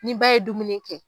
Nin ba ye dumuni kɛ.